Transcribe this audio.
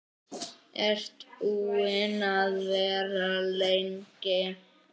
Ertu búin að vera lengi?